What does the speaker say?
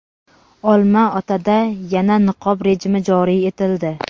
Olma-otada yana niqob rejimi joriy etildi.